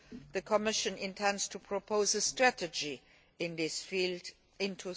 The Commission intends to propose a strategy in this field